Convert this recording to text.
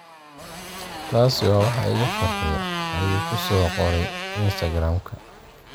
Taasi waa waxa iga farxiya,” ayuu ku soo qoray Instagram-ka.